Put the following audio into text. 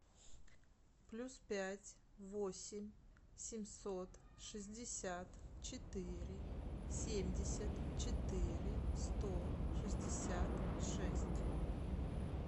плюс пять восемь семьсот шестьдесят четыре семьдесят четыре сто шестьдесят шесть